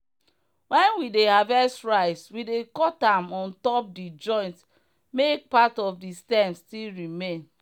when we dey harvest rice we dey cut am on top the joint make part of the stem still remain.